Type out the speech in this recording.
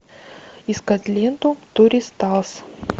искать ленту туристас